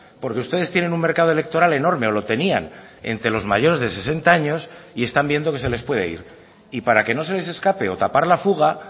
porque ustedes tienen un mercado electoral enorme o lo tenían entre los mayores de sesenta años y están viendo que se les puede ir y para que no se les escape o tapar la fuga